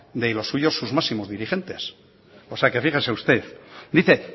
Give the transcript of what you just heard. de los suyos sus máximos dirigentes o sea que fíjese usted dice